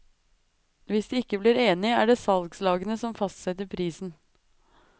Hvis de ikke blir enige, er det salgslagene som fastsetter prisen.